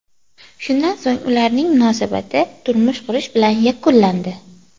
Shundan so‘ng ularning munosabati turmush qurish bilan yakunlandi.